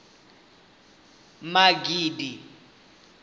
magidi